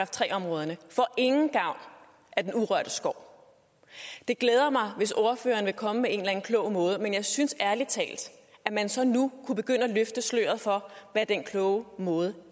tre områderne får ingen gavn af den urørte skov det glæder mig hvis ordføreren vil komme med en eller anden klog måde men jeg synes ærlig talt at man så nu kunne begynde at løfte sløret for hvad den kloge måde